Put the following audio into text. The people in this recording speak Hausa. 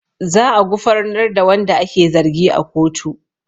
Za a gufarnar da wanda ake zargi a kotu